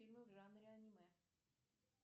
фильмы в жанре аниме